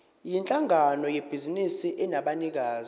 yinhlangano yebhizinisi enabanikazi